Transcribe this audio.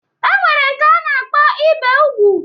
E nwere nke a na-akpọ ibe ugwu